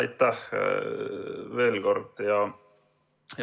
Aitäh veel kord!